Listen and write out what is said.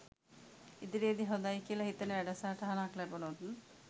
ඉදිරියේදී හොඳයි කියලා හිතෙන වැඩසටහනක් ලැබුණොත්